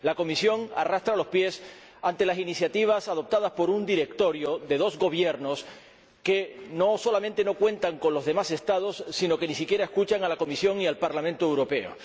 La Comisión arrastra los pies ante las iniciativas adoptadas por un directorio de dos Gobiernos que no solamente no cuentan con los demás Estados, sino que ni siquiera escuchan a la Comisión y al Parlamento Europeo.